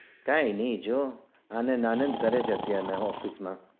કાય ની જો આનંદ આનંદ કરે છે અત્યાર ના office માં